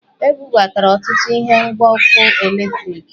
E bubatara ọtụtụ ihe ngwa ọkụ eletriki